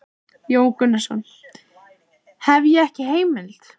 Jón Gunnarsson: Hef ég ekki heimild?